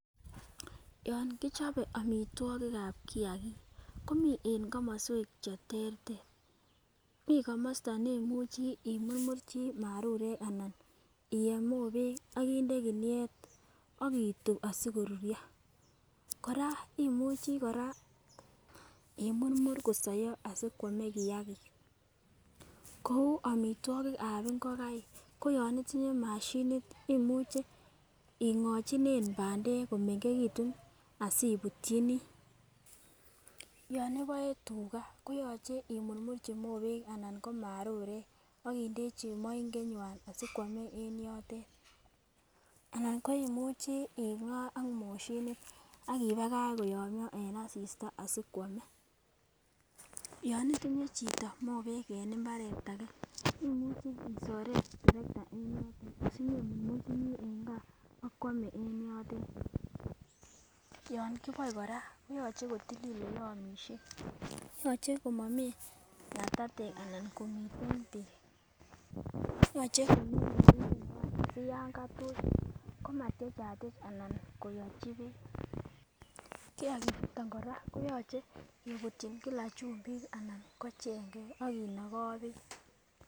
Yon kichobe omitwokikab kiyakik komii en komoswek cheterter mii komosto neimuchi imurmurchi marurek ana iyeb mobek akinde kiniey akitub asikoruryo. Koraa imuchii Koraa imurmur kosoyo asikwome kiyagik kou omitwokikab ingokaik ko yon itinye moshinit imuche ingochinen pandek komengekitun asimutyini, yon iboe tugaa koyoche imurmurchi mobek anan ko marurek akindechi mongenywan asikwome en yotet anan koimuchii ing'aa ak moshinit akimakach koyomyo en asista asikwome. Yon itinye chito mobek en imbaret age imuche isoren terekta en yotet sinyon imurmurchinii en gaa akwome en yotet, yon kiboe Koraa koyoche kotilil oleomishen yoche komomii ngatatek anan komiten beek yoche komii moinget nywan siyan katuch koma tyechatyech anan koyochi beek. Kiyagik chuton Koraa koyoche kebutyin kila chumbik anan ko chengek akinogoo beek.